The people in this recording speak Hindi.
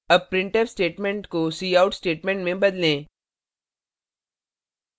अब printf statement को cout statement में बदलें